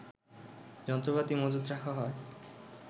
যন্ত্রপাতি মজুত রাখা হয়